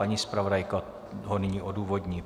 Paní zpravodajka ho nyní odůvodní.